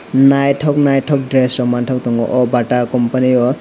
naitok naitok dress rok mantok tango o bata company o.